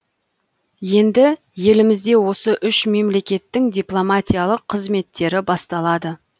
енді елімізде осы үш мемлекеттің дипломатиялық қызметтері басталады